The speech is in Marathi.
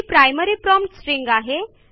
ती प्रायमरी प्रॉम्प्ट स्ट्रिंग आहे